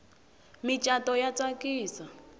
micato ya tsakisa